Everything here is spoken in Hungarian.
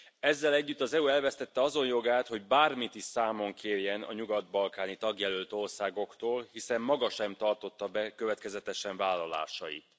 Ezzel együtt az EU elvesztette azon jogát, hogy bármit is számon kérjen a nyugat balkáni tagjelölt országoktól, hiszen maga sem tartotta be következetesen vállalásait.